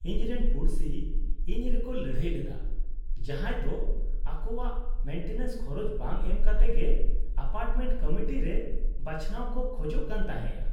ᱤᱧᱨᱮᱱ ᱯᱩᱲᱥᱤ ᱤᱧ ᱨᱮᱠᱚ ᱞᱟᱹᱲᱦᱟᱹᱭ ᱞᱮᱫᱟ, ᱡᱟᱦᱟᱸᱭ ᱫᱚ ᱟᱠᱚᱣᱟᱜ ᱢᱮᱱᱴᱮᱱᱮᱱᱥ ᱠᱷᱚᱨᱚᱪ ᱵᱟᱝ ᱮᱢ ᱠᱟᱛᱮᱜᱮ ᱮᱯᱟᱨᱴᱢᱮᱱᱴ ᱠᱚᱢᱤᱴᱤ ᱨᱮ ᱵᱟᱪᱷᱱᱟᱣ ᱠᱚ ᱠᱷᱚᱡᱚᱜ ᱠᱟᱱ ᱛᱟᱦᱮᱸᱜᱼᱟ ᱾